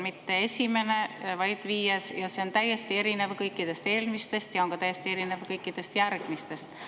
Mitte esimene, vaid viies, ja see on täiesti erinev kõikidest eelmistest ja täiesti erinev kõikidest järgmistest.